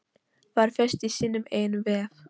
Var föst í sínum eigin vef